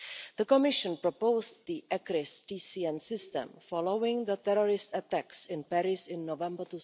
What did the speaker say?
The Commission proposed the ECRIS-TCN system following the terrorist attacks in Paris in November